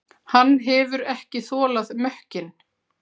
Hann hefur ekki þolað mökkinn.